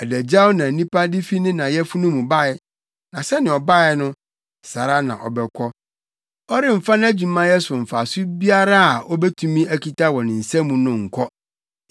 Adagyaw na onipa de fi ne na yafunu mu bae, na sɛnea ɔbae no, saa ara na ɔbɛkɔ. Ɔremfa nʼadwumayɛ so mfaso biara a obetumi akita wɔ ne nsa mu no nkɔ.